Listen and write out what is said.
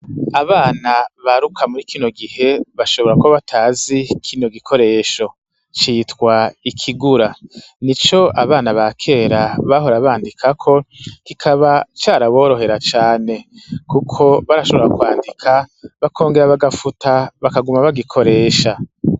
Abana baruka muri kino gihe bashobora ko batazi kino gikoresho citwa ikigura ni co abana ba kera bahora bandikako kikaba caraborohera cane, kuko barashobora kwandika bakongera bagafuta bakaguma bagikoresha.